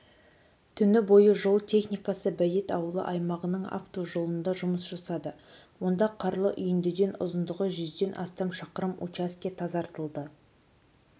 түні бойы жол техникасы бәйет ауылы аймағының автожолында жұмыс жасады онда қарлы үйіндіден ұзындығы жүзден астам шақырым учаске тазартылды